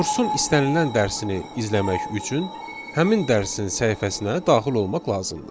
Kursun istənilən dərsini izləmək üçün həmin dərsin səhifəsinə daxil olmaq lazımdır.